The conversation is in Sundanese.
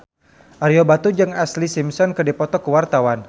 Ario Batu jeung Ashlee Simpson keur dipoto ku wartawan